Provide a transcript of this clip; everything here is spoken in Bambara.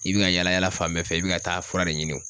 I bi ka yala yala fan bɛɛ fɛ, i bi ka taa fura de ɲini .